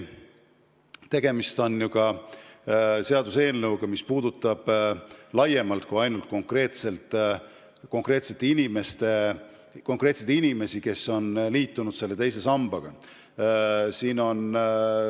Tegemist on ju seaduseelnõuga, mis ei puuduta ainult konkreetseid inimesi, kes on teise sambaga liitunud, vaid laiemalt kogu ühiskonda.